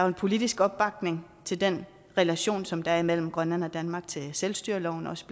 en politisk opbakning til den relation som der er mellem grønland og danmark til selvstyreloven også